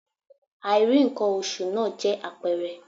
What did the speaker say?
Àìrí ǹkan oṣù náà jẹ́ àpẹẹrẹ